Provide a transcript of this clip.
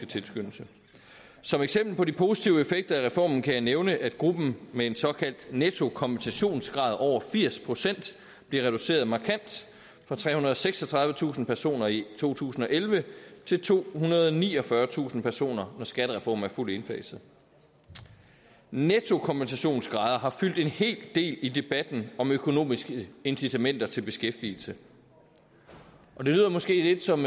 tilskyndelse som eksempel på de positive effekter af reformen kan jeg nævne at gruppen med en såkaldt nettokompensationsgrad over firs procent bliver reduceret markant fra trehundrede og seksogtredivetusind personer i to tusind og elleve til tohundrede og niogfyrretusind personer når skattereformen er fuldt indfaset nettokompensationsgrader har fyldt en hel del i debatten om økonomiske incitamenter til beskæftigelse og det lyder måske lidt som